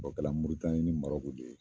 O kɛla Moritanni ni Marɔku de ye